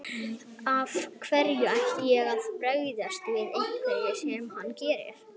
Af hverju ætti ég að bregðast við einhverju sem hann gerir.